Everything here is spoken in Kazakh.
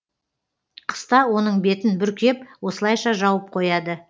қыста оның бетін бүркеп осылайша жауып қояды